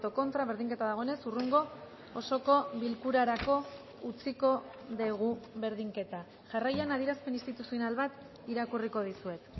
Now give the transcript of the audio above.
contra berdinketa dagoenez hurrengo osoko bilkurarako utziko dugu berdinketa jarraian adierazpen instituzional bat irakurriko dizuet